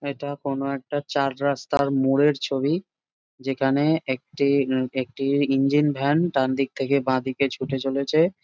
এটা কোনো একটা চার রাস্তার মোড়ের ছবি। যেখানে একটি উ একটি ইঞ্জিন ভ্যান ডানদিক থেকে বাঁদিকে ছুটে চলেছে।